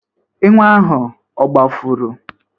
Enwe ahụ ogbafuru?